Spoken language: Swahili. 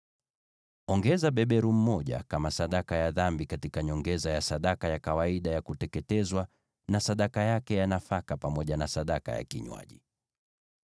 Weka beberu mmoja kama sadaka ya dhambi, kwa nyongeza ya kawaida ya sadaka ya kuteketezwa, na sadaka yake ya nafaka, pamoja na sadaka zao za vinywaji.